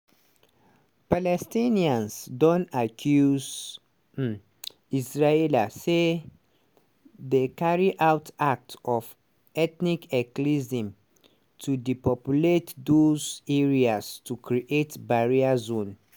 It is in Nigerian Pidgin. palestinians don accuse um israela say dey carry out acts of "ethnic cleansing" to depopulate dose areas to create barrier zone.